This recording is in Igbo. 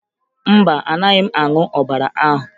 Mba, anaghị m aṅụ ọbara ahụ